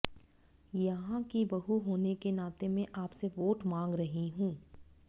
यहां की बहू होने के नाते मैं आपसे वोट मांग रही हूं